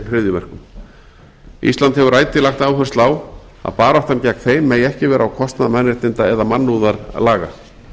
hryðjuverkum ísland hefur ætíð lagt áherslu á að baráttan gegn þeim megi ekki vera á kostnað mannréttinda eða mannúðarlaga